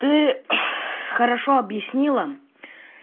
ты хорошо объяснила